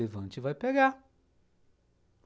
Levanta e vai pegar.